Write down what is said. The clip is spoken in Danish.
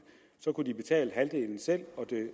så kunne de betale halvdelen selv og det